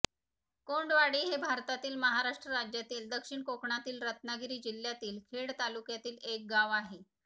कोंडवाडी हे भारतातील महाराष्ट्र राज्यातील दक्षिण कोकणातील रत्नागिरी जिल्ह्यातील खेड तालुक्यातील एक गाव आहे